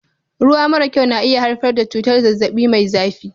Ruwa mara kyau na iya haifar da cutar zazzabi Mai zafi